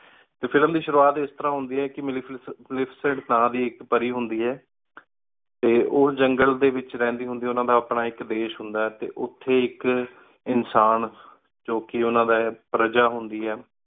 T film ਦੀ ਸ਼ੁਰੂ ਅਤ ਇਸ ਤਰ੍ਹਾਂ ਹੁੰਦੀ ਆਯ ਕੀ ਮਤਲਬ ਮਾਲਿਸ੍ਟੇਡ ਮਾਲਿਸ੍ਟੇਡ ਥਾਂ ਦੀ ਏਕ ਪਾਰੀ ਹੁੰਦੀ ਆਯ ਟੀ ਉਜੈਨ ਘਲ ਵੇਚ ਰਹੰਦੀ ਹੁੰਦੀ ਆਯ ਉਨਾ ਦਾ ਆਪਣਾ ਏਕ ਦੇਸ਼ ਹੁੰਦਾ ਆਯ ਟੀ ਉਠੀ ਏਕ ਇਨਸਾਨ ਜੋ ਕੀ ਉਨਾ ਦੀ ਪਰਜਾ ਹੁੰਦੀ ਆਯ